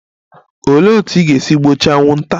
Olee otú ị ga-esi gbochie anwụnta?